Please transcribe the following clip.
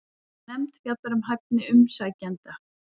Nefnd fjallar um hæfni umsækjenda